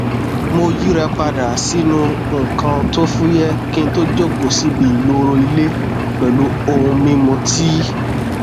mo yíra padà sínú nnkan tó fúyẹ kí n tó jókòó síbi ìloro ilé pẹlú ohun mímu tíì